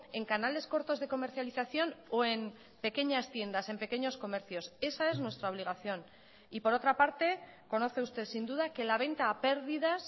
en canales cortos de comercialización o en pequeñas tiendas en pequeños comercios esa es nuestra obligación y por otra parte conoce usted sin duda que la venta a pérdidas